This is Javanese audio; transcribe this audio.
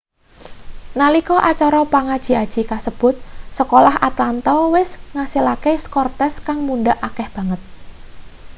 nalika acara pangaji-aji kasebut sekolah atlanta wis ngasilake skor tes kang mundhak akeh banget